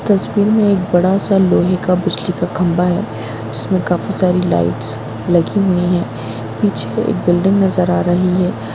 इस तस्वीर में एक बड़ा सा लोहे का बिजली का खम्बा हैं जिसमे काफी सारी लाइट लगी हुई हैं पीछे एक बिल्डिंग नज़र आ रही हैं।